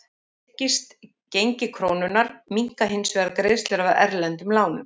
Styrkist gengi krónunnar minnka hins vegar greiðslur af erlendu lánunum.